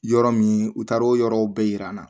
Yɔrɔ min u taara o yɔrɔw bɛɛ yira an na